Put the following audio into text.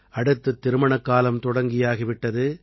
அடுத்து திருமணக்காலம் தொடங்கியாகி விட்டது